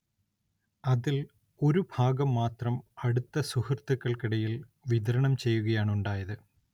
അതിൽ ഒരുഭാഗം മാത്രം അടുത്ത സുഹൃത്തുക്കൾക്കിടയിൽ വിതരണം ചെയ്യുകയാണുണ്ടായത്.